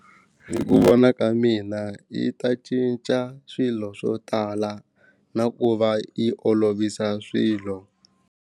Hi ku vona ka mina yi ta cinca swilo swo tala na ku va yi olovisa swilo.